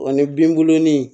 Ani bin bulon ni